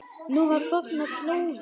Nú á fornar slóðir.